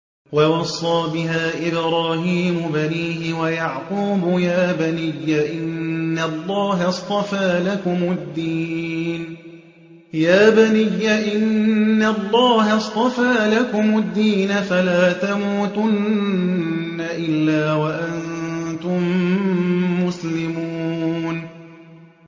وَوَصَّىٰ بِهَا إِبْرَاهِيمُ بَنِيهِ وَيَعْقُوبُ يَا بَنِيَّ إِنَّ اللَّهَ اصْطَفَىٰ لَكُمُ الدِّينَ فَلَا تَمُوتُنَّ إِلَّا وَأَنتُم مُّسْلِمُونَ